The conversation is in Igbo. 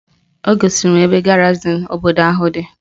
O gosiri m ebe garịzịn obodo ahụ dị